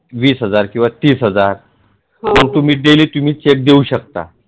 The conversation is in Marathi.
वीस हजार किंवा तीस हजार हा तुम्ही तै जै तुम्ही चेक देऊ शकता